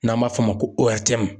N'an b'a f'o ma ko ORTM.